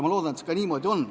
Ma loodan, et see ka niimoodi on.